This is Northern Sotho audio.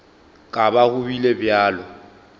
ka ba go bile bjalo